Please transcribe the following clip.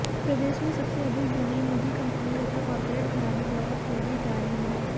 प्रदेश में सबसे अधिक जमीन निजी कंपनियों तथा कारपोरेट घरानों द्वारा खरीदी जा रही है